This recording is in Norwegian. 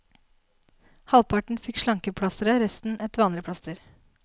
Halvparten fikk slankeplasteret, resten et vanlig plaster.